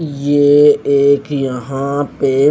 ये एक यहाँ पे--